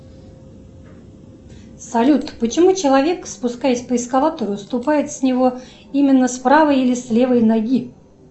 салют почему человек спускаясь по эскалатору ступает с него именно с правой или с левой ноги